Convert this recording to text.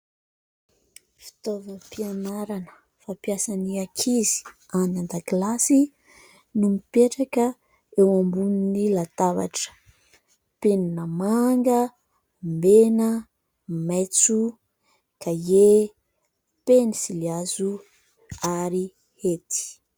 Fitaovam-pianarana fampiasan'ny ankizy any an-dakilasy no mipetraka eo ambonin'ny latabatra : penina manga, mena, maitso, kahie, pensily hazo ary hety.